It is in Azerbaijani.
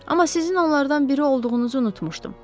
Amma sizin onlardan biri olduğunuzu unutmuşdum.